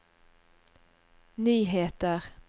nyheter